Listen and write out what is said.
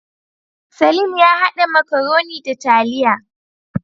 Salim ya hada makaroni da taliya